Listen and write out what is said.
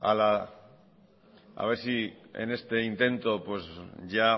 a ver si en este intento ya